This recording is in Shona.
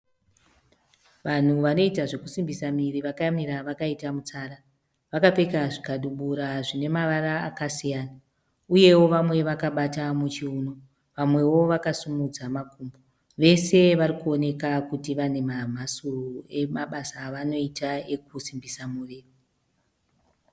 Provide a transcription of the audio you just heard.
Vanhu vanoita zvekusimbisa miviri vakamira vakaita mutsara. Vakapfeka zvikabudura zvine mavara akasiyana uyeo vamwe vakabata muchiuno vamweo vakasimudza makumbo. Vese varikuoneka kuti vane mamhasuro emabasa avanoita ekusimbisa miviri.